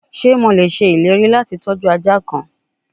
Ṣe Mo le ṣe ileri lati tọju aja kan?